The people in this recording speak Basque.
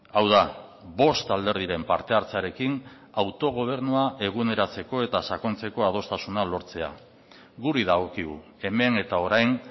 hau da bost alderdiren parte hartzearekin autogobernua eguneratzeko eta sakontzeko adostasuna lortzea guri dagokigu hemen eta orain